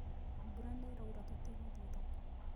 Mbura nĩĩraura tũtigũthĩĩ thoko